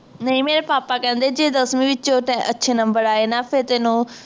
ਨਹੀਂ ਮੇਰੇ ਪਾਪਾ ਕਹਿੰਦੇ ਜੇ ਦਸਵੀ ਵਿੱਚੋ ਤੈ ਅੱਛੇ number ਆਏ ਨਾ ਫੇਰ ਤੈਨੂੰ